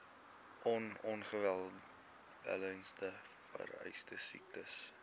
on ongewenste veesiektes